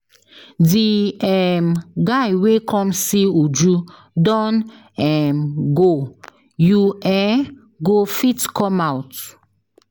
The um guy wey come see Uju don um go. You um go fit come out.